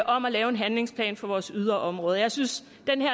om at lave en handlingsplan for vores yderområder jeg synes